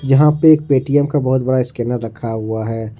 यहां पे एक पेटीएम बहुत बड़ा स्कैनर रखा हुआ है।